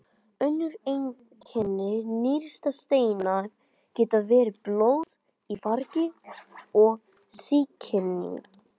Önnur einkenni nýrnasteina geta verið blóð í þvagi og sýking.